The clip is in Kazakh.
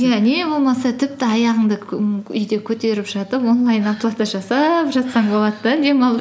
иә не болмаса тіпті аяғыңды ііі үйде көтеріп жатып онлайн оплата жасап жатсаң болады да демалып